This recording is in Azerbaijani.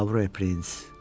Pavro prins.